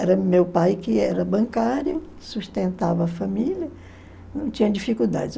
Era meu pai que era bancário, sustentava a família, não tinha dificuldades.